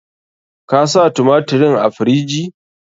Ka sa tumatirin a firiji?